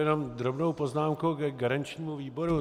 Jenom drobnou poznámku ke garančnímu výboru.